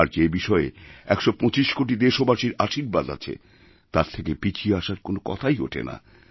আর যে বিষয়ে ১২৫ কোটি দেশবাসীর আশীর্বাদ আছে তার থেকে পিছিয়ে আসার কোনও কথাই ওঠেনা